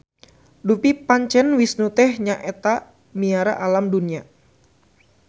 Dupi pancen Wisnu teh nya etamiara alam dunya.